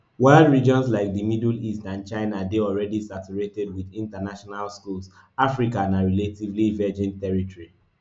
while regions like di middle east and china dey already saturated wit international schools africa na relatively virgin territory